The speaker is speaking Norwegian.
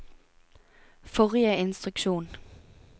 forrige instruksjon